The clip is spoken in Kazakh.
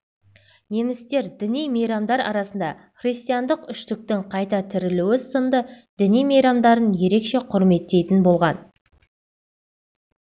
немістер діни мейрамдар арасында Христиандық үштіктің қайта тірілуі сынды діни мейрамдарын ерекше құрметтейтін болған